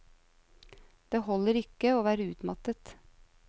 Det holder ikke å være utmattet.